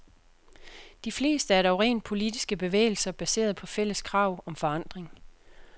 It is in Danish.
De fleste er dog rent politiske bevægelser baseret på fælles krav om forandring.